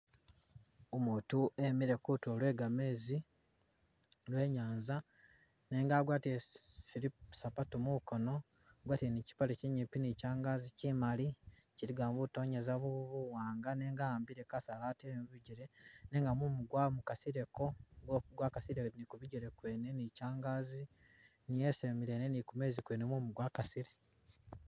Umutu emile kutulu lwe gamezi lwe inyanza, nenga agwatile zi sili sapatu mukono, agwatile ne chipaale chinyipi ne changazi chimali chiligamo butonyeza buwanga nenga a'ambile kasaala atele mubijele nenga mumu gwa mukasileko gwakasile ne kubijele mwene ne changazi niye isembele ino ne kumezi kwene mumu gwa kasile.